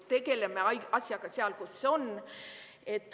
Tegeleme asjaga seal, kus see on.